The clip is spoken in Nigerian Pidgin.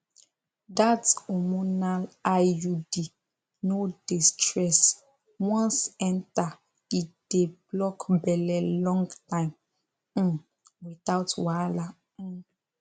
that hormonal iud no dey stress once enter e dey block belle long time um without wahala um